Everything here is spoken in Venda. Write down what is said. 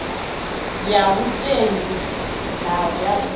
ya vhutengu na ya u